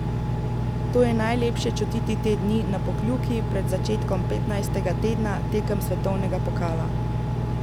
To je najlepše čutiti te dni na Pokljuki pred začetkom petnajstega tedna tekem svetovnega pokala.